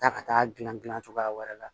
Taa ka taa gilan gilan cogoya wɛrɛ la